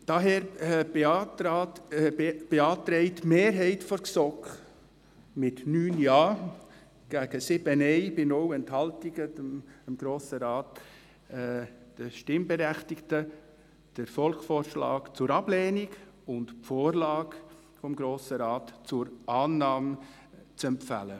Daher beantragt die Mehrheit der GSoK dem Grossen Rat mit 9 Ja- gegen 7 Nein-Stimmen bei 0 Enthaltungen, den Stimmberechtigten den Volksvorschlag zur Ablehnung und die Vorlage des Grossen Rates zur Annahme zu empfehlen.